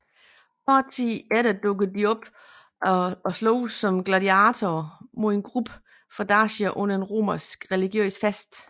Kort tid efter dukker de op og sloges som gladiatorer mod en gruppe fra Dacia under en romersk religiøs fest